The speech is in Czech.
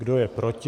Kdo je proti?